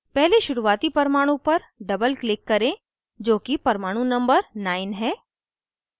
पहले शुरुवाती परमाणु पर doubleclick करें जो कि परमाणु number 9 है